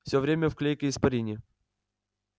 всё время в клейкой испарине